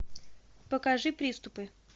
покажи приступы